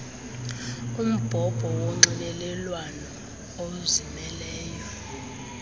umbhobho wonxibelelwano ozimeleyo